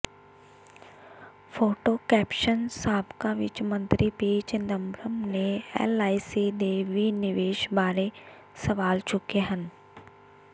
photo caption ਸਾਬਕਾ ਵਿੱਤ ਮੰਤਰੀ ਪੀ ਚਿਦੰਬਰਮ ਨੇ ਐੱਲਆਈਸੀ ਦੇ ਵਿਨਿਵੇਸ਼ ਬਾਰੇ ਸਵਾਲ ਚੁੱਕੇ ਹਨ